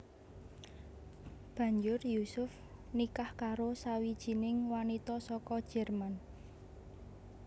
Banjur Yusuf nikah karo sawijining wanita saka Jerman